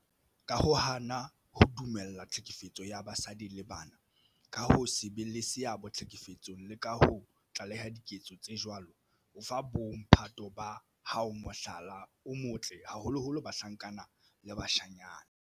Ka ho hana ho dumella tlhekefetso ya basadi le bana, ka ho se be le seabo tlhekefetsong le ka ho tlaleha diketso tse jwalo, o fa bo mphato ba hao mohlala o motle, haholoholo bahlankana le bashanyana.